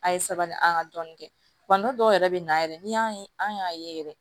An ye sabali an ka dɔnni kɛ dɔw yɛrɛ bɛ na yɛrɛ ni y'an ye an y'a ye yɛrɛ